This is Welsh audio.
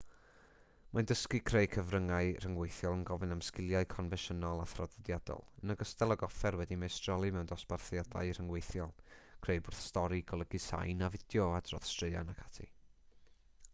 mae dysgu creu cyfryngau rhyngweithiol yn gofyn am sgiliau confensiynol a thraddodiadol yn ogystal ag offer wedi'u meistroli mewn dosbarthiadau rhyngweithiol creu bwrdd stori golygu sain a fideo adrodd straeon ac ati